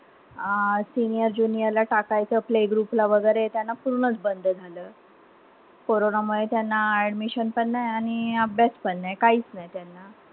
अं senior junior ला टाकायचं. Playgroup ला वगरे. त्यांना पूर्णच बंद झालं. कोरोनामुळे त्याना admission पण नाई. आणि अभ्यास पण नाई. काईच नाई त्यांना.